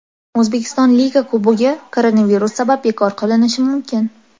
O‘zbekiston Liga Kubogi koronavirus sabab bekor qilinishi mumkin !